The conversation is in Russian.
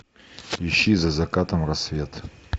ищи за закатом рассвет